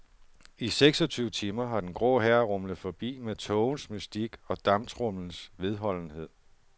I seksogtyve timer har den grå hær rumlet forbi med tågens mystik og damptromlens vedholdenhed.